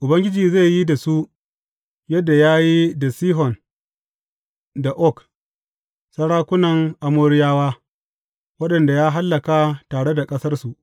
Ubangiji zai yi da su, yadda ya yi da Sihon da Og, sarakunan Amoriyawa, waɗanda ya hallaka tare da ƙasarsu.